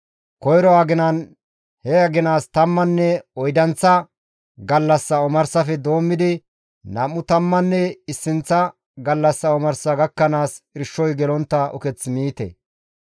Koyro aginan he aginaas tammanne oydanththa gallassa omarsafe doommidi nam7u tammanne issinththa gallassa omarsa gakkanaas irshoy gelontta uketh miite.